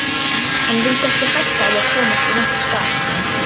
Hann vildi ekki hætta á að komast í vont skap